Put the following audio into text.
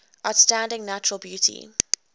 outstanding natural beauty